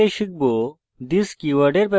in tutorial শিখব